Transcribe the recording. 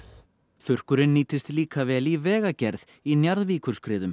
þurrkurinn nýttist líka vel í vegagerð í